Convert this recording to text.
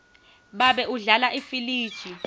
babe udlala ifiliji